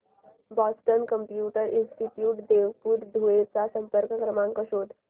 Boston computer institute Devpur Dhule चा संपर्क क्रमांक शोध